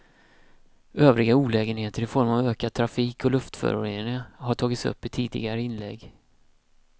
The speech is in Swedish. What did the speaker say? Övriga olägenheter i form av ökad trafik och luftföroreningar har tagits upp i tidigare inlägg.